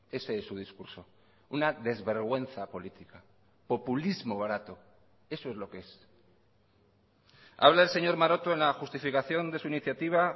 ese es su discurso una desvergüenza política populismo barato eso es lo que es habla el señor maroto en la justificación de su iniciativa